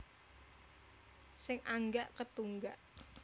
Sing anggak ketunggak